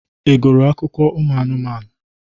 Ị gụrụ akụkọ anụmanụ?